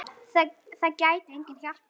Það gæti enginn hjálpað honum.